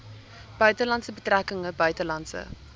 buitelandse betrekkinge buitelandse